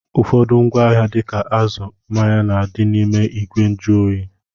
Ụfọdụ ngwaahịa dịka azụ, mmanya na-adị n'ime ìgwè njụoyi